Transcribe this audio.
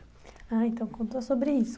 Ah, então conta sobre isso.